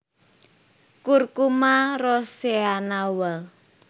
Curcuma roscoeana Wall